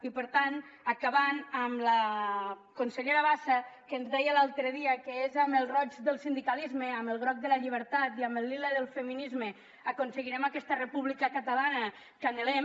i per tant i acabo amb la consellera bassa que ens deia l’altre dia que és amb el roig del sindicalisme amb el groc de la llibertat i amb el lila del feminisme que aconseguirem aquesta república catalana que anhelem